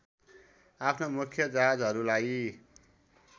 आफ्नो मुख्य जहाजहरूलाई